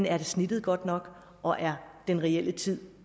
er snittet godt nok og er den reelle tid